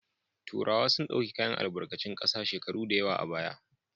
Turawa sun dauki kayan albarkicin sa daya shekuru dayawa a baya